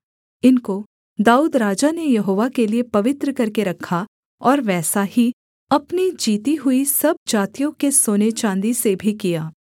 इनको दाऊद राजा ने यहोवा के लिये पवित्र करके रखा और वैसा ही अपने जीती हुई सब जातियों के सोने चाँदी से भी किया